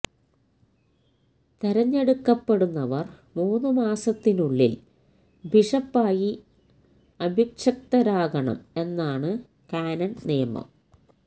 തിരഞ്ഞെടുക്കപ്പെടുന്നവർ മൂന്നു മാസത്തിനുള്ളിൽ ബിഷപ്പായി അഭിഷിക്തരാകണം എന്നാണ് കാനൻ നിയമം